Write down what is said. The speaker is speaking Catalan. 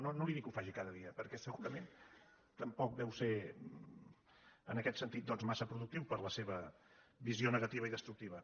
no li dic que ho faci cada dia per·què segurament tampoc deu ser en aquest sentit mas·sa productiu per a la seva visió negativa i destructi·va